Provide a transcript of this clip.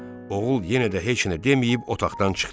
Oğul yenə də heç nə deməyib otaqdan çıxdı.